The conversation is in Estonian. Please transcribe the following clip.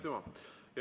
Aitüma!